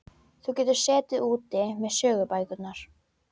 Þú getur setið úti með sögubækurnar.